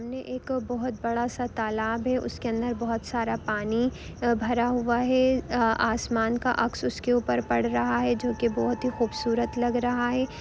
सामने एक बहूत बड़ा सा तालाब है उसके अंदर बहुत सारा पानी अ भरा हुआ है आ-- आ-- आसमान का अक्स उसके ऊपर पड़ रहा है जो की बहुत ही खूबसूरत लग रहा है।